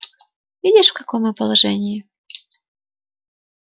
видишь в каком мы положении